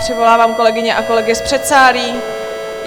Přivolávám kolegyně a kolegy z předsálí.